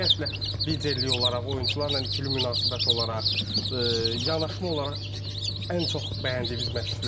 Ümumiyyətlə liderlik olaraq, oyunçularla ikili münasibət olaraq, yanaşma olaraq ən çox bəyəndiyiniz məşqçilərdir.